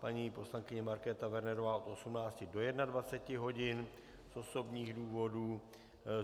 Paní poslankyně Markéta Wernerová od 18 do 21 hodin z osobních důvodů.